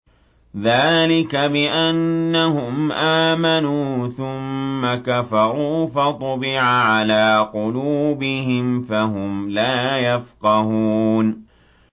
ذَٰلِكَ بِأَنَّهُمْ آمَنُوا ثُمَّ كَفَرُوا فَطُبِعَ عَلَىٰ قُلُوبِهِمْ فَهُمْ لَا يَفْقَهُونَ